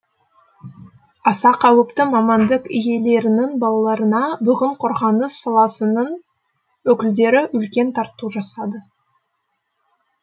аса қауіпті мамандық иелерінің балаларына бүгін қорғаныс саласының өкілдері үлкен тарту жасады